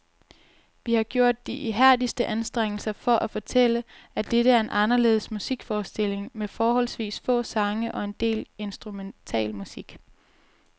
Vi har gjort de ihærdigste anstrengelser for at fortælle, at dette er en anderledes musikforestilling med forholdsvis få sange og en del instrumentalmusik.